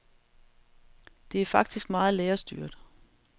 Det er faktisk meget lærerstyret.